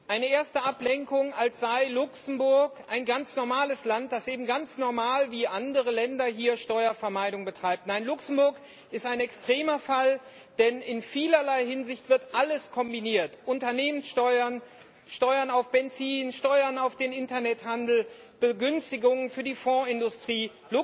Eine erste Ablenkung, als sei Luxemburg ein ganz normales Land, das ganz normal wie andere Länder Steuervermeidung betreibt. Nein, Luxemburg ist ein extremer Fall, denn in vielerlei Hinsicht wird alles kombiniert Unternehmenssteuern, Steuern auf Benzin, Steuern auf den Internethandel, Begünstigung für die Fondsindustrie.